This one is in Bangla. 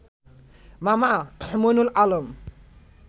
মামা মঈনুল আলম